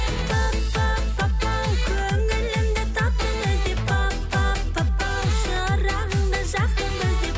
пап пап папау көңілімді таптың іздеп пап пап папау шырағымды жақтың іздеп